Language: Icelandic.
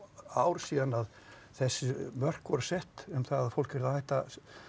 ár síðan að þessi mörk voru sett um það að fólk yrði að hætta